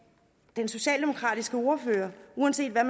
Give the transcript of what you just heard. den socialdemokratiske ordfører uanset hvad